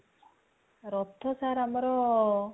ରଥ sir ଆମର